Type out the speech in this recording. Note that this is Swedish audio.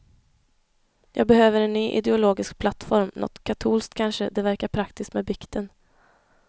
Jag behöver en ny ideologisk plattform, nåt katolskt kanske, det verkar praktiskt med bikten.